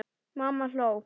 Mamma hló.